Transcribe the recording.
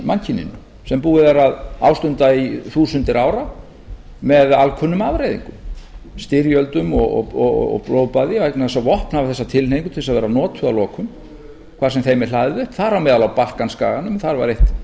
mannkyninu sem búið er að ástunda í þúsundir ára með alkunnum afleiðingum styrjöldum og blóðbaði vegna þess að vopn hafa þessa tilheigingu til þess að vera notuð að lokum þar sem þeim er hlaðið upp þar á meðal á balkanskaganum þar var eitt